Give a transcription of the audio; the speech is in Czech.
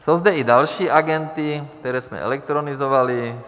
Jsou zde i další agendy, které jsme elektronizovali.